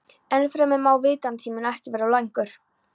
Ennfremur má vinnutíminn ekki vera of langur.